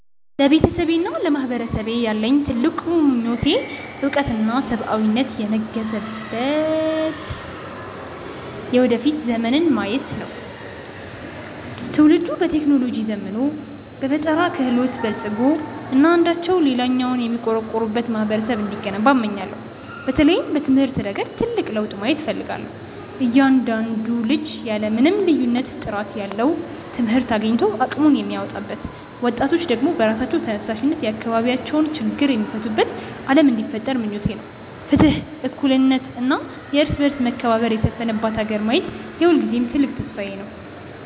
ለቤተሰቤና ለማህበረሰቤ ያለኝ ትልቁ ምኞት እውቀትና ሰብአዊነት የነገሰበት የወደፊት ዘመንን ማየት ነው። ትውልዱ በቴክኖሎጂ ዘምኖ፣ በፈጠራ ክህሎት በልፅጎ እና አንዳቸው ለሌላው የሚቆረቆሩበት ማህበረሰብ እንዲገነባ እመኛለሁ። በተለይም በትምህርት ረገድ ትልቅ ለውጥ ማየት እፈልጋለሁ፤ እያንዳንዱ ልጅ ያለ ምንም ልዩነት ጥራት ያለው ትምህርት አግኝቶ አቅሙን የሚያወጣበት፣ ወጣቶች ደግሞ በራሳቸው ተነሳሽነት የአካባቢያቸውን ችግር የሚፈቱበት ዓለም እንዲፈጠር ምኞቴ ነው። ፍትህ፣ እኩልነት እና የእርስ በርስ መከባበር የሰፈነባት ሀገር ማየት የሁልጊዜም ትልቅ ተስፋዬ ነው።